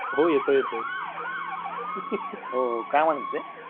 हो येतोय येतोय हो हो काय म्हणत होते